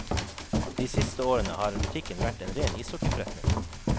De siste årene har butikken vært en ren ishockeyforretning.